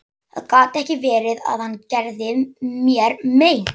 Það gat ekki verið að hann gerði mér mein.